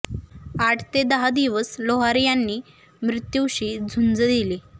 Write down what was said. आठ ते दहा दिवस लोहार यांनी मृत्यूशी झुंज दिली